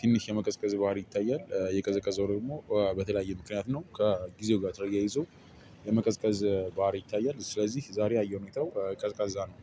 ትንሽ የመቀዝቀዝ ባህሪ ይታያል። የቀዘቀዘው ደግሞ በተለያየ ምክንያት ነው። ከጊዜው ጋር ተያይዞ የመቀዝቀዝ ባህሪ ይታያል። ስለዚህ ዛሬ ያየው ሁኔታው ቀዝቃዛ ነው።